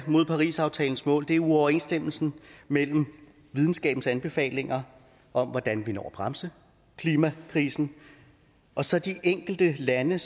er mod parisaftalens mål er uoverensstemmelsen mellem videnskabens anbefalinger om hvordan vi når at bremse klimakrisen og så de enkelte lande